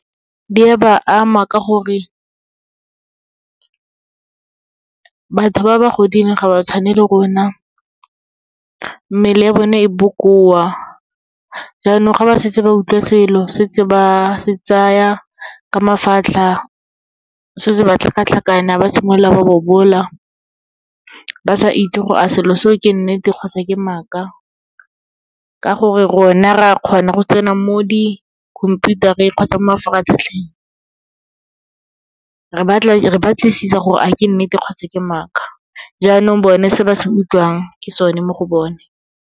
Di a ba ama ka gore, batho ba ba godileng ga ba tshwane le rona, mmele ya bone e bokoa, jaanong ga ba setse ba utlwa selo setse ba se tsaya ka mafatlha, setse ba tlhakatlhakana, ba simolola ba bobola, ba sa itse gore a selo seo ke nnete kgotsa ke maaka. Ka gore, rona re a kgona go tsena mo dikhomputareng kgotsa mo mafaratlhatlheng, re batlisisa gore a ke nnete kgotsa ke maaka, jaanong bone se ba se utlwang, ke sone mo go bone.